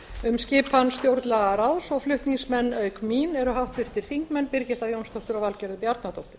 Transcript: um skipun stjórnlagaráðs flutningsmenn auk mín eru háttvirtir þingmenn birgitta jónsdóttir og valgerður bjarnadóttir